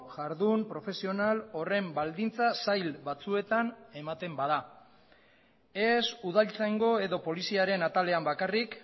jardun profesional horren baldintza zail batzuetan ematen bada ez udaltzaingo edo poliziaren atalean bakarrik